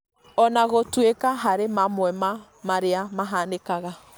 ona gũtuĩka harĩ mamwe ma marĩa mahanĩkaga